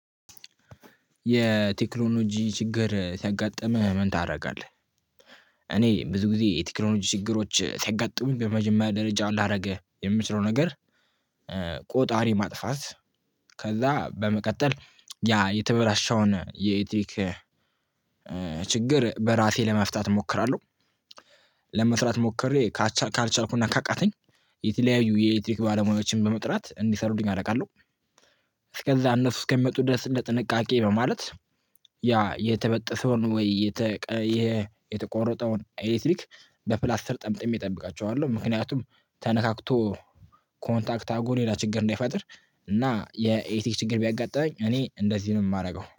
የቴክኖሎጂ ችግር ሲያጋጥምህ ምን ታደርጋለህ? እኔ ብዙ ጊዜ የቴክኖሎጂ ችግሮች ሲያጋጥሙኝ በመጀመሪያ ደረጃ ላደርግ የምችለው ነገር ቆጣሪ ማጥፋት ከዛ በመቀጠል ያ የተበላሸውን የኤሌትሪክ ችግር በራሴ ለመፍታት እሞክራለሁ። ለመፍራት ሞክሬ ካልቻ ካልቻልኩና ካቃተኝ የተለያዩ የኤሌክትሪክ ባለሙያዎችን በመጥራት እንዲሰሩልኝ አደርጋለሁ። እስከዛ እነሱ እስከሚመጡ ድረስ ለጥንቃቄ በማለት ያ የተበጠሰውን ወይ የተቆረጠውን ኤሌክትሪክ በፕላስተር ጠምጥሜ እጠብቃቸዋለሁ። ምክንያቱም ተነካክቶ ኮንታክት አረጎ ሌላ ችግር እንዳይፈጥር እና የኤሌክትሪክ ችግር ቢያጋጥመኝ እኔ እንደዚህ ነው የማደርገው